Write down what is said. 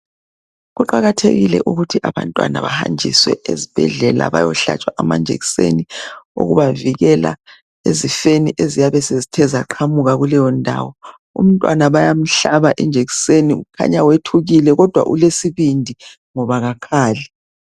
Kuqakathekile ukuthi abantwana bahanjiswe ezibhedlela bayohlatshwa amajekiseni okubavikela ezifeni eziyabe sezithe zaqhamuka kuleyo ndawo umntwana bayamhlaba ijekiseni kukhanya wethukile kodwa ulesibindi ngoba kakhali.